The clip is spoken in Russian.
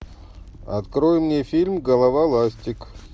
открой мне фильм голова ластик